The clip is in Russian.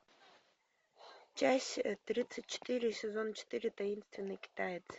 часть тридцать четыре сезон четыре таинственный китаец